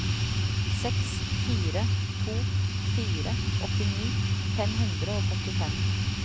seks fire to fire åttini fem hundre og førtifem